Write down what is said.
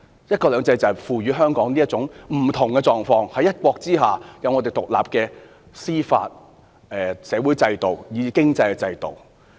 "一國兩制"賦予香港有這種不同的狀況，可以在"一國"之下擁有獨立的司法、社會和經濟制度。